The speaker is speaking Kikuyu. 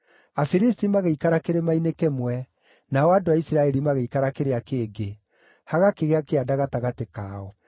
Afilisti magĩikara kĩrĩma-inĩ kĩmwe, nao andũ a Isiraeli magĩikara kĩrĩa kĩngĩ, hagakĩgĩa kĩanda gatagatĩ kao.